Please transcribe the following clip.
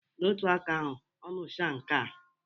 N'otu aka ahụ, ọ muchaa nkea